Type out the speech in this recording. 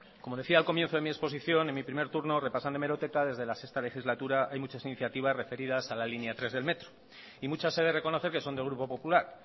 como decía al comienzo de mi exposición en mi primer turno repasando hemeroteca desde la sexta legislatura hay muchas iniciativas referidas a la línea tres del metro y muchas he de reconocer que son del grupo popular